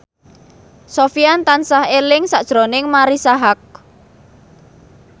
Sofyan tansah eling sakjroning Marisa Haque